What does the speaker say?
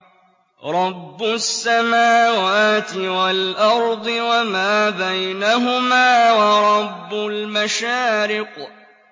رَّبُّ السَّمَاوَاتِ وَالْأَرْضِ وَمَا بَيْنَهُمَا وَرَبُّ الْمَشَارِقِ